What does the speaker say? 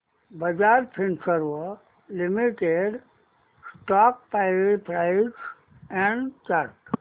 Bajaj Finserv limited stock price and chart